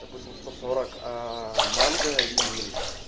допустим сто сорок манго и